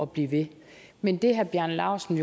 blive ved men det herre bjarne laustsen